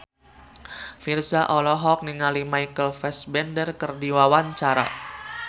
Virzha olohok ningali Michael Fassbender keur diwawancara